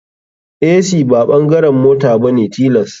Ac ba bangaren mota bane tilas.